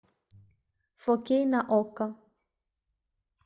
фо кей на окко